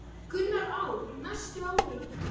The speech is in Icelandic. Gunnar: Á næstu árum?